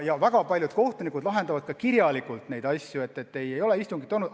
Ja väga paljud kohtunikud lahendavad teatud asju ka kirjalikult, nii et ei ole istungit olnud.